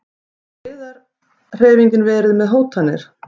Hefur friðarhreyfingin verið með hótanir?